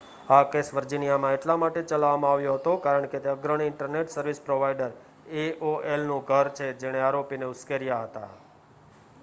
આ કેસ વર્જિનિયામાં એટલા માટે ચલાવવામાં આવ્યો હતો કારણ કે તે અગ્રણી ઇન્ટરનેટ સર્વિસ પ્રોવાઇડર એઓએલનું ઘર છે જેણે આરોપોને ઉશ્કેર્યા હતા